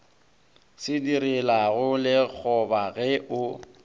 se direlago lekgoba ge o